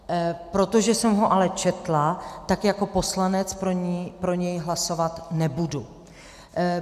Protože jsem ho ale četla, tak jako poslanec pro něj hlasovat nebudu.